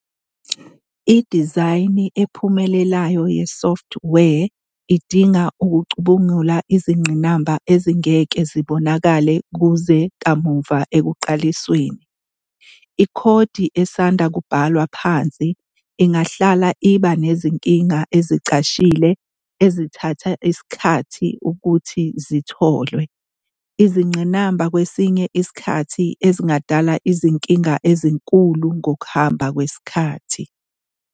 Idizayini ephumelelayo yesoftware idinga ukucubungula izingqinamba ezingeke zibonakale kuze kamuva ekuqalisweni. Ikhodi esanda kubhalwa phansi ingahlala iba nezinkinga ezicashile ezithathe isikhathi ukuthi zitholwe, izingqinamba kwesinye isikhathi ezingadala izinkinga ezinkulu ngokuhamba kwesikhathi.